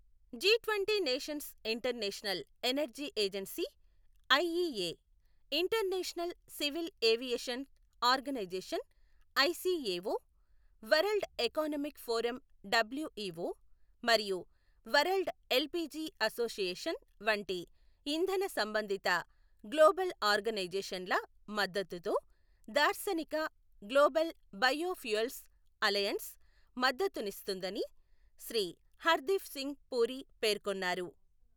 జీట్వంటీ nations international energy agency IEA, international civil aviation organisation ICAO, world economic forum WEO మరియు world LPG association వంటి ఇంధన సంబంధిత global ఆర్గనైజేషన్ల మద్దతుతో దార్శనిక గ్లోబల్ బయో ఫ్యూయల్స్ అలయన్స్ మద్దతునిస్తుందని శ్రీ హర్దీప్ సింగ్ పూరి పేర్కొన్నారు.